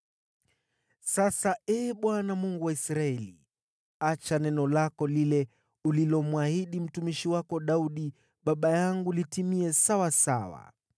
Sasa, Ee Bwana , Mungu wa Israeli, acha neno lako lile ulilomwahidi mtumishi wako Daudi baba yangu litimie.